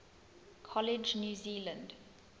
college new zealand